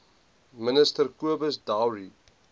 minister cobus dowry